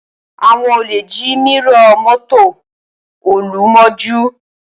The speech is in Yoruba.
Àwọn olè jí mírọ̀ mọ́tò Olú mọ́jú